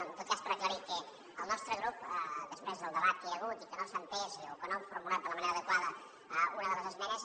no en tot cas per aclarir que el nostre grup després del debat que hi ha hagut i que no s’ha entès o que no hem formulat de la manera adequada una de les esmenes